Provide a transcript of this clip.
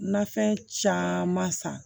Nafɛn caman san